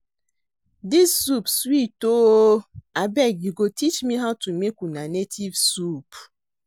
Dis soup sweet oo. Abeg you go teach me how to make una native soup